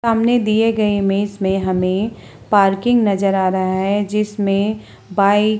सामने दिए गए इमेज में हमें पार्किंग नजर आ रहा है जिसमें बाइक --